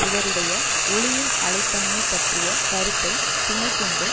இவருடைய ஒளியின் அலைத் தன்மை பற்றிய கருத்தை துணை கொண்டு